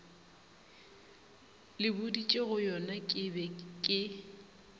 le boditšegoyona ke be ke